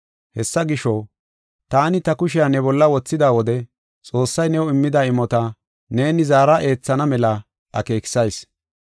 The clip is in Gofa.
Hessa gisho, taani ta kushiya ne bolla wothida wode Xoossay new immida imota neeni zaara eethana mela akeekisayis.